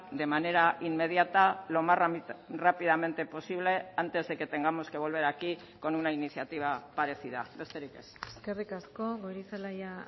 de manera inmediata lo más rápidamente posible antes de que tengamos que volver a aquí con una iniciativa parecida besterik ez eskerrik asko goirizelaia